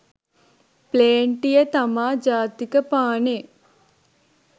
ප්ලේන්ටිය තමා ජාතික පානේ